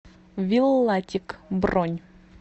виллатик бронь